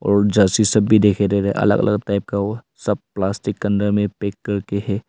और जर्सी सब भी देख अलग अलग टाइप का वो सब प्लास्टिक के अंदर में पैक करके है।